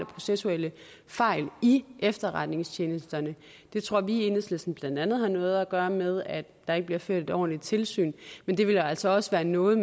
processuelle fejl i efterretningstjenesterne det tror vi i enhedslisten blandt andet har noget at gøre med at der ikke bliver ført et ordentligt tilsyn men det vil altså også være noget